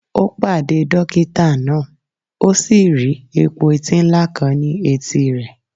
Ó pàdé dókítà náà, ó sì rí epo-eti ńlá kan ní etí rẹ̀